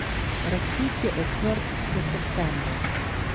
Razpis je odprt do septembra.